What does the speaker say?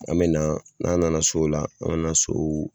An mɛ na n'an nana so o la an mɛ na so